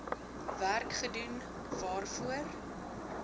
werk gedoen waarvoor